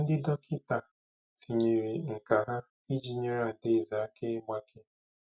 Ndị dọkịta tinyere nkà ha iji nyere Adaeze aka ịgbake.